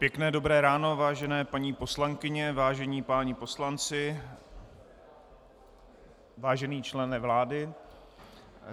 Pěkné dobré ráno, vážení paní poslankyně, vážení páni poslanci, vážený člene vlády.